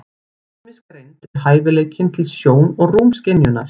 Rýmisgreind er hæfileikinn til sjón- og rúmskynjunar.